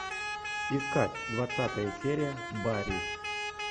искать двадцатая серия барри